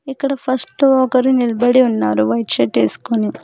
ఇక్కడ ఫస్ట్ ఒకరు నిలబడి ఉన్నారు వైట్ షర్ట్ ఏసుకొని.